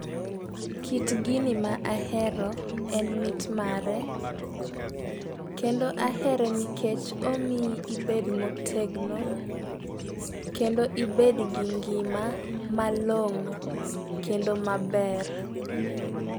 Kit gini ma ahero en mit mare kendo ahere nikech omiyi ibed motegno kendo ibed gi ngima malong'o kendo maber.